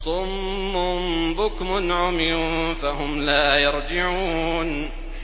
صُمٌّ بُكْمٌ عُمْيٌ فَهُمْ لَا يَرْجِعُونَ